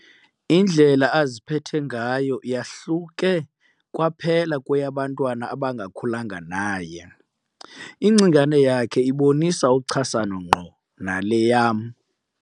Indlela aziphethe ngayo yahluke kwaphela kweyabantwana abangakhulanga naye. ingcingane yakhe ibonisa uchasano ngqo nale yam